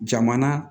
Jamana